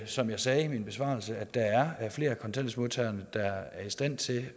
som jeg sagde i min besvarelse er flere af kontanthjælpsmodtagerne der er i stand til